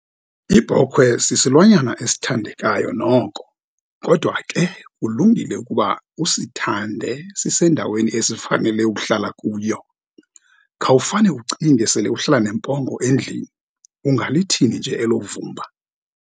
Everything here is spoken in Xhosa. Ibhokhwe sisilwanyana esithandekayo noko, kodwa ke kulungile ukuba usithande sisendaweni esifanele ukuhlala kuyo. Khawufane ucinge, sele uhlala nempongo endlini, ungalithini nje elo vumba?